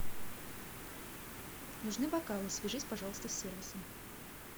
нужны бокалы свяжись пожалуйста с сервисом